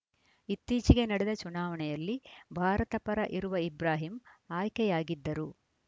ಇತ್ತೀಚೆಗೆ ನಡೆದ ಚುನಾವಣೆಯಲ್ಲಿ ಭಾರತ ಪರ ಇರುವ ಇಬ್ರಾಹಿಂ ಅಯ್ಕೆಯಾಗಿದ್ದರು